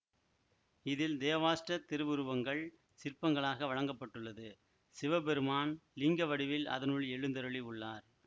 இதில் தேவாஷ்ட திருவுருவங்கள் சிற்பங்களாக வழங்க பட்டுள்ளது சிவபெருமான் லிங்கவடிவில் அதனுள் எழுந்தருளி உள்ளார்